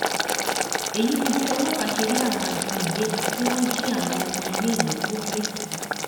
èyí ni bí ọlọ́pàá ṣe rí àwọn ajínigbé tí wọ́n jí àwọn ọmọ iléèwé kó lẹ́kìtì